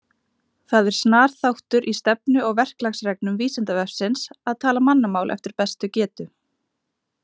Það er snar þáttur í stefnu og verklagsreglum Vísindavefsins að tala mannamál eftir bestu getu.